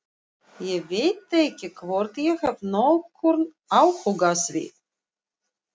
Ég veit ekki hvort ég hef nokkurn áhuga á því.